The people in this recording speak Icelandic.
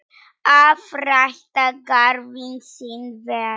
Að rækta garðinn sinn vel.